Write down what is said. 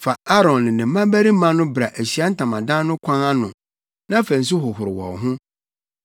“Fa Aaron ne ne mmabarima no bra Ahyiae Ntamadan no kwan ano na fa nsu hohoro wɔn ho.